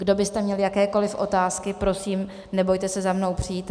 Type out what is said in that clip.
Kdo byste měli jakékoli otázky, prosím, nebojte se za mnou přijít.